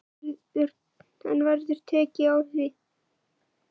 En verður tekið á því?